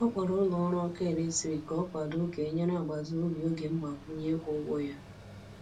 Ọ kpọrọ ụlọ ọrụ ọkụ eletrik ka ọ kwado ka e nyere agbata obi oge mgbakwunye ịkwụ ụgwọ ya.